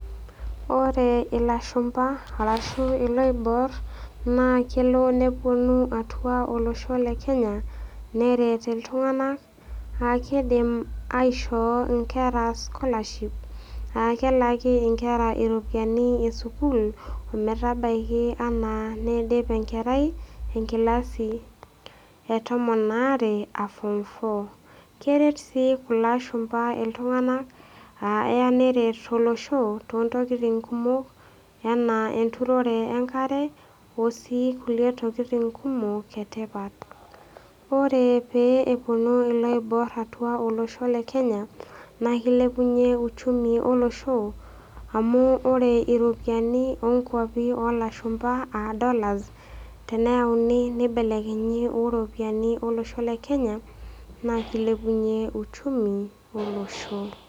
Ore ilashumba arashu iloibor naa kelo nepuonu atua olosho le Kenya neret iltung'ana, aa keidim aishoo inkera scholarship aa kelaaki inkera iropiani e sukuul ometabaiki anaa neidip enkerai, enkilasi e tomon aare aa form four keret sii kulo ashumba iltung'ana aa eya neret Olosho too intokitin kumok anaa enturore enkare o sii kulie tokitin kumok e tipat. Ore pee epuonu iloibor atua olosho le Kenya, naa keilepunye uchumi olosho amu ore iropiani oo nkwapi oo lashumba aa dollars teneyauni neibelekenyi o inolosho le Kenya naa keilepunye uchumi olosho.